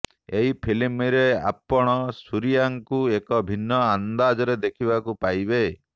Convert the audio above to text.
ଏହି ଫିଲ୍ମରେ ଆପଣ ସୁରିୟାଙ୍କୁ ଏକ ଭିନ୍ନ ଅନ୍ଦାଜରେ ଦେଖିବାକୁ ପାଇବେ